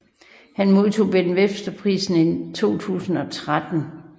Han modtog Ben Webster Prisen i 2013